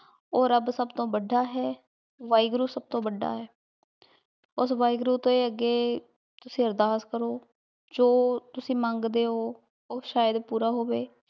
ਊ ਰਾਬ ਸਬ ਤੋਂ ਵਾਦਾ ਹੈ ਵਾਹੇ ਗੁਰੂ ਸਬ ਤੋਂ ਵਾਦਾ ਹੈ ਓਸ ਵਾਹੇ ਗੁਰੂ ਦੇ ਅਗੇ ਤੁਸੀਂ ਅਰਦਾਸ ਕਰੋ ਜੋ ਤੁਸੀਂ ਮੰਗਦੇ ਊ ਊ ਸ਼ਾਯਦ ਪੋਰ ਹੋਵੇ